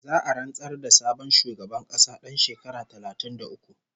Za'a rantsar da sabon shugaban ƙasa ɗan shekara talatin da uku